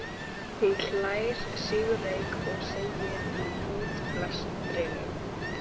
Hún hlær, sýgur reyk og segir í útblæstrinum